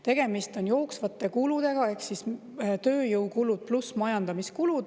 Tegemist on jooksvate kuludega, ehk siis tööjõukulud pluss majandamiskulud.